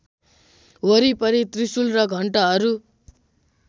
वरिपरि त्रिशुल र घण्टहरू